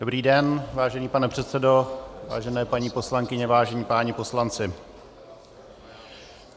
Dobrý den, vážený pane předsedo, vážené paní poslankyně, vážení páni poslanci.